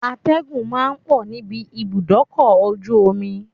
Atẹ́gùn ma ń pọ̀ níbi ibùdókọ̀ ojú omi